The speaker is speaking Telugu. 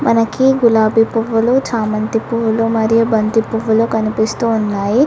మనకి గులాబీ పువ్వులు చామంతి పువ్వులు మరియు బంతి పువ్వులో కనిపిస్తూ ఉన్నాయి.